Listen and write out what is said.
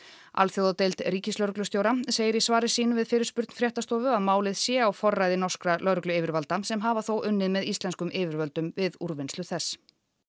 alþjóðadeild ríkislögreglustjóra segir í svari sínu við fyrirspurn fréttastofu að málið sé á forræði norskra lögregluyfirvalda sem hafa þó unnið með íslenskum yfirvöldum við úrvinnslu þess